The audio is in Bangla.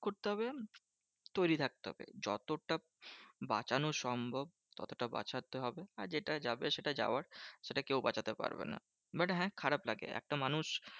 করতে হবে? তৈরী থাকতে হবে। যতটা বাঁচানো সম্ভব ততটা বাঁচাতে হবে। আর যেটা যাবে সেটা যাওয়ার সেটা কেউ বাঁচাতে পারবে না। but হ্যাঁ খারাপ লাগে, একটা মানুষ